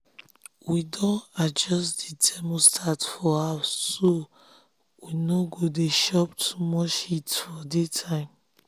we don adjust the thermostat for house so we no go dey chop too much heat for daytime.